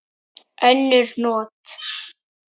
Önnur not